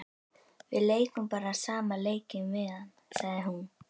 Við leikum bara sama leikinn við hann, sagði hún.